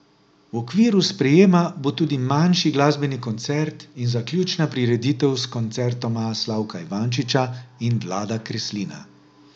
V okviru sprejema bo tudi manjši glasbeni koncert in zaključna prireditev s koncertoma Slavka Ivančiča in Vlada Kreslina.